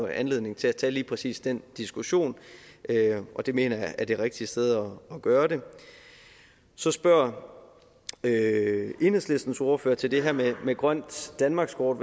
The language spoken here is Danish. anledning til at tage lige præcis den diskussion og det mener jeg er det rigtige sted at gøre det så spørger enhedslistens ordfører til det her med grønt danmarkskort